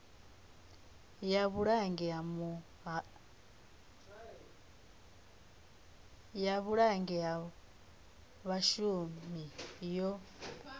ya vhulanguli ha vhashumi yo